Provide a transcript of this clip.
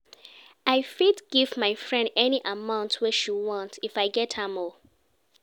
I fit give my friend any amount wey she want, if I get am o.